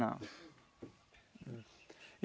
Não.